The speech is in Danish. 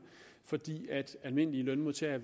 fordi almindelige lønmodtagere